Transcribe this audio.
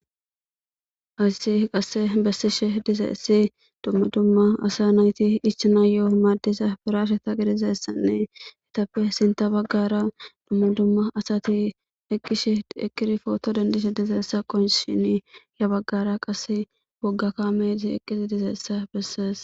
asasi qasse bessishe dizeessi dumma dumma asa nayti ichana yo7o maaddisa biraashe taqi dizessanne etappe sinta baggara dumma dumma asati eqqish eqiri footo dendishe dizeessa qon shini ya baggara qase woggaka meti eqqizi dizeessa bessees